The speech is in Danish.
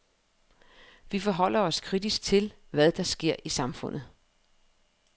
Vi forholder os kritisk til, hvad der sker i samfundet.